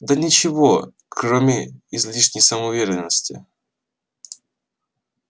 да ничего кроме излишней самоуверенности